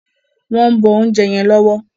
wón ǹ bó oúnjẹ yen lówó.